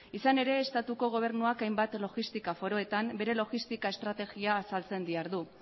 izan ere estatuko gobernuak hainbat logistika foroetan bere logistika estrategia azaltzen dihardu